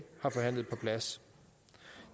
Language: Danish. har forhandlet på plads